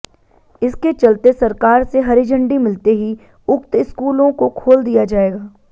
इसके चलते सरकार से हरी झंडी मिलते ही उक्त स्कूलों को खोल दिया जाएगा